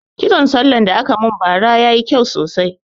Kitson sallah da aka mun ba ra yayi kyau sosai